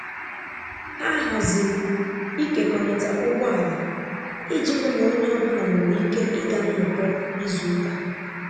Ha haziri ịkekọrịta ụgbọala iji hụ na onye ọ bụla nwere ike ịga nnọkọ izu ụka.